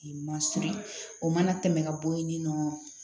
Ma siri o mana tɛmɛ ka bɔ yen ni nɔ